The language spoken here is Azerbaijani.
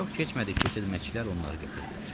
Çox keçmədi ki, xidmətçilər onları gətirdilər.